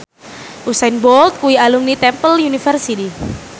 Usain Bolt kuwi alumni Temple University